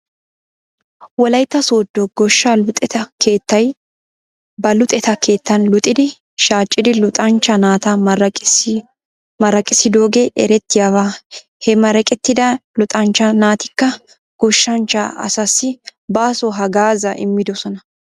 Wolaytta sooddo goshshaa luxetta keettay ba luxetta keettan luxiidi shaaccida luxanchcha naata maraqissidoogee erettiyaaba. He maraqettidda luxanchcha naatikka goshanchcha asaassi baaso hagaazaa immidosona.